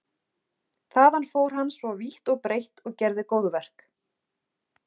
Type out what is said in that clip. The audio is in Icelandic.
Þaðan fór hann svo vítt og breitt og gerði góðverk.